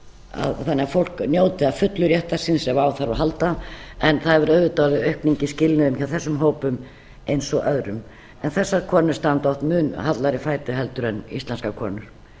þannig að fólk njóti að fullu réttar síns ef á þarf að halda en það hefur auðvitað verið aukning í skilnuðum hjá þessum hópum eins og öðrum en þessar konur standa oft mun hallari fæti en íslenskar konur